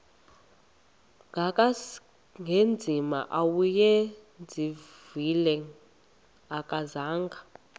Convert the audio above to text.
kangangezimanga awayezivile akazanga